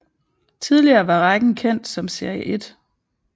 Tidligere var rækken kendt som Serie 1